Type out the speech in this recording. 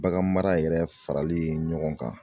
Bagan mara yɛrɛ farali ɲɔgɔn kan.